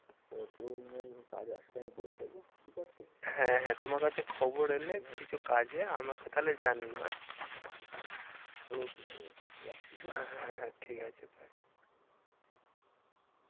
কাজ আসলে আমি বলে দেবো ঠিক আছে? হ্যাঁ হ্যাঁ তোমার কাছে খবর এলে কিছু কাজে আমাকে তাহলে জানিও আঁ okay ভাই okay রাখছি হ্যাঁ। হ্যাঁ হ্যাঁ ঠিক আছে bye